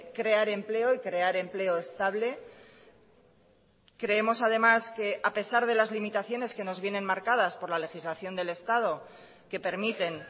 crear empleo y crear empleo estable creemos además que a pesar de las limitaciones que nos vienen marcadas por la legislación del estado que permiten